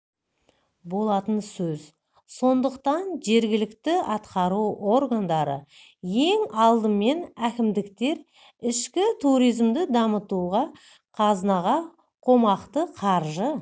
болатын сөз сондықтан жергілікті атқару органдары ең алдымен әкімдіктер ішкі туризмді дамытуға қазынаға қомақты қаржы